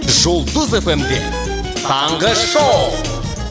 жұлдыз эф эм де таңғы шоу